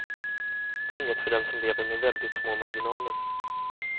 Det är inget för den som lever med väldigt små marginaler.